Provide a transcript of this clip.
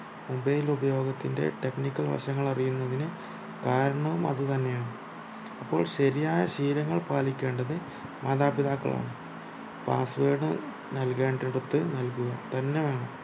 mobile ഉപയോഗത്തിന്റെ technical വശങ്ങൾ അറിയുന്നതിന് കാരണവും അതു തന്നെയാണ് അപ്പോൾ ശരിയായ ശീലങ്ങൾ പാലിക്കേണ്ടത് മാതാപിതാക്കളാണ് password നല്കേണ്ടെട്ത്തു നൽകുക തന്നെ വേണം